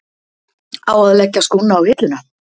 Á að leggja skónna á hilluna?